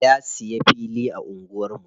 Ya siya fili a anguwar mu.